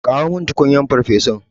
Kawo min tukunyar farfesun.